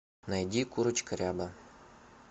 найди курочка ряба